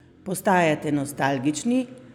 Postajate nostalgični?